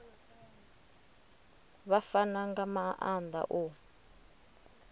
vha fana nga maanda u